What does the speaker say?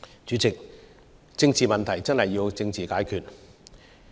主席，政治問題真的要政治解決。